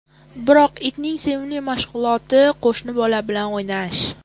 Biroq itning sevimli mashg‘uloti qo‘shni bolalar bilan o‘ynash.